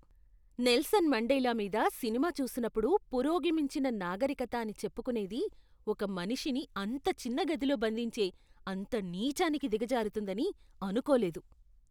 Nelson Mandela మీద సినిమా చూసినప్పుడు పురోగమించిన నాగరికత అని చెప్పుకునేది ఒక మనిషిని అంత చిన్న గదిలో బంధించే అంత నీచానికి దిగజారుతుందని అనుకోలేదు.